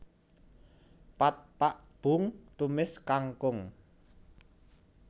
Pad Pak boong tumis kangkung